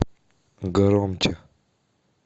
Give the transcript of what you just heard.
громче